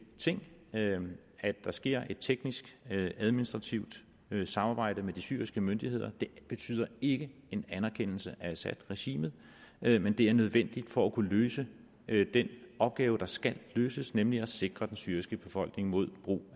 ting at der sker et teknisk administrativt samarbejde med de syriske myndigheder det betyder ikke en anerkendelse af assad regimet men det er nødvendigt for at kunne løse den opgave der skal løses nemlig at sikre den syriske befolkning mod brug